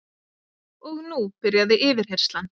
Og nú byrjaði yfirheyrslan